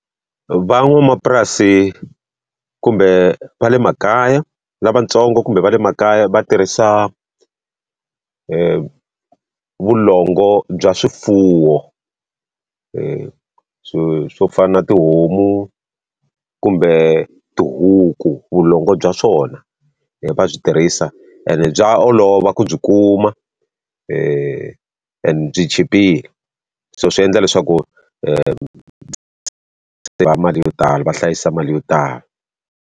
Van'wamapurasi kumbe va le makaya lavatsongo kumbe va le makaya va tirhisa vulongo bya swifuwo. swo swo fana na tihomu kumbe tihuku vulongo bya swona, va byi tirhisa and bya olova ku byi kuma and byi chipile. So swi endla leswaku mali yo tala va hlayisa mali yo tala.